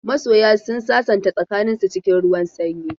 Masoya sun sasanta tsakaninsu cikin ruwan sanyi.